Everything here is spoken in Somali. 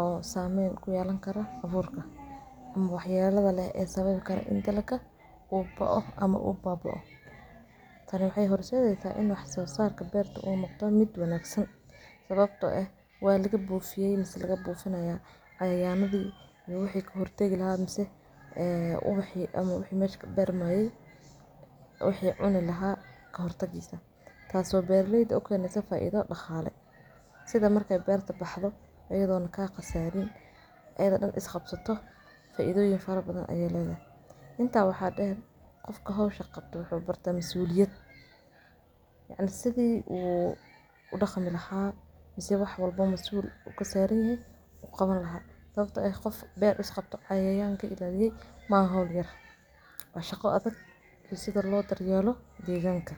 oo sameen ku yelan karo abuurka ama wax yaladha leeh sababi karo in daalka u baoo ama u babaoo dalgayadha sidho aytahy in wax so sarka beerta u noqdo mid wanagsan sababto eeh wa lagabufiye ama wa lagabufineya cayayandhi ama wixi kahortagi laha mise ubaxi ama wixi mesha ka bermaye wixi cuni laha kahortag taaso beeralayda u keneyso faidha ma daaqale sidha marka beerta baxdo oo ayadhan kaa qasariin ayada daan ee isqabsato faidoyiin farabadhan ayee ledahay. Inta waxa deer qofka hawsha qabto waxa barte masuliyaad oo sidhi u daqmi lahaa mise wax walba masuul u kasaranyahy u qawan laha sababto ah qof beer qabto cayayanka ka ilaliye maha hawl yar waa shaqo adag iyo sidha loo daryeelo deganka.